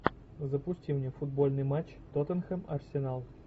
запусти мне футбольный матч тоттенхэм арсенал